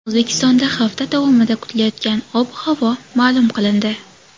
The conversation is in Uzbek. O‘zbekistonda hafta davomida kutilayotgan ob-havo ma’lum qilindi.